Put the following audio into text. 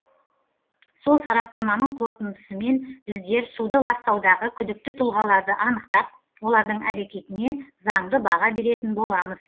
сол сараптаманың қорытындысымен біздер суды ластаудағы күдікті тұлғаларды анықтап олардың әрекетіне заңды баға беретін боламыз